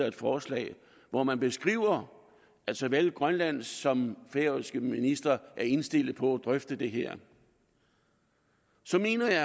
et forslag hvor man beskriver at såvel grønlandske som færøske ministre er indstillet på at drøfte det her så mener jeg